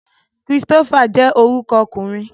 Christopher je oruko okunrin